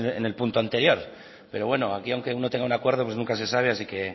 en el punto anterior pero bueno aunque aquí aunque uno tenga un acuerdo pues nunca se sabe así que